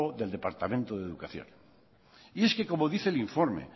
del departamento de educación y es que como dice el informe